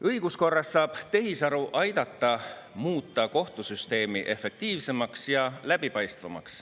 Õiguskorras saab tehisaru aidata muuta kohtusüsteemi efektiivsemaks ja läbipaistvamaks.